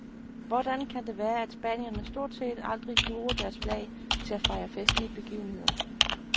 Hvordan kan det være, at spanierne stort set aldrig bruger deres flag til at fejre festlige begivenheder?